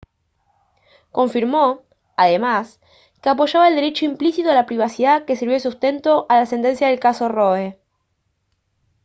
confirmó además que apoyaba al derecho implícito a la privacidad que sirvió de sustento a la sentencia del caso roe